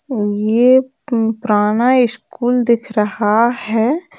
ये पु-पुराना स्कूल दिख रहा है।